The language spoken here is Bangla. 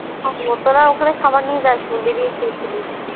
তোরা ওখানে খাবার নিয়ে যাস নি বেরিয়ে খেয়েছিলিস